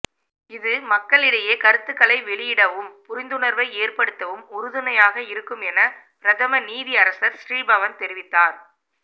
இது மக்களிடையே கருத்துக்களை வெளியிடவும் புரிந்துணர்வை ஏற்படுத்தவும் உறுதுணையாக இருக்கும் என பிரதம நீதியரசர் ஸ்ரீபவன் தெரிவித்தார்